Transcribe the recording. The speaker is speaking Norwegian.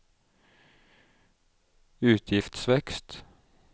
utgiftsvekst